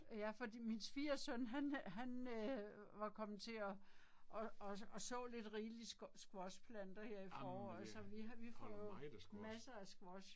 Ja fordi min svigersøn han han æh var kommet til og og og og så lidt rigeligt squashplanter her i foråret så vi har vi får masser af squash